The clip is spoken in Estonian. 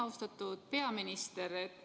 Austatud peaminister!